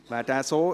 / Regierungsrat